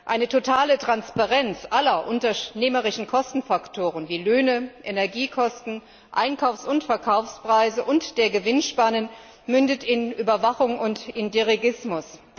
Eine totale Transparenz aller unternehmerischen Kostenfaktoren wie Löhne, Energiekosten, Einkaufs und Verkaufspreise und der Gewinnspannen mündet in Überwachung und Dirigismus.